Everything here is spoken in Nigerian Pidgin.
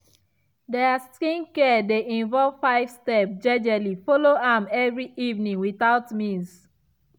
their skincare dey involve five step jejely follow am every evening without miss.